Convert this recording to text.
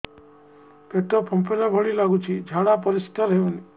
ପେଟ ଫମ୍ପେଇଲା ଭଳି ଲାଗୁଛି ଝାଡା ପରିସ୍କାର ହେଉନି